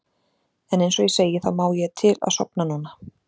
En einsog ég segi þá má ég til að sofna núna.